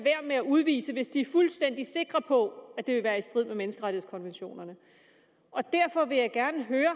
med at udvise hvis de er fuldstændig sikre på at det vil være i strid med menneskerettighedskonventionerne derfor vil jeg gerne høre